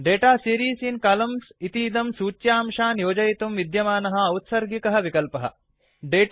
data series in columns इतीदं सूच्यांशान् योजयितुं विद्यमानः औत्सर्गिकःडीफाल्ट् विकल्पः